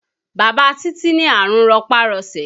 Bàbá Títí ní àrùn rọpá-rọṣẹ̀